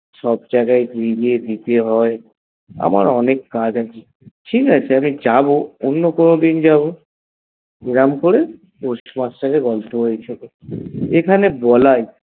সব জাগায় গিয়ে গিয়ে দিতে হয়ে আমার অনেক কাজ আছে, ঠিকাছে আমি যাব অন্য কোনো দিন যাব এরম করে postmaster এর গল্পে হয়ে এখানে বলে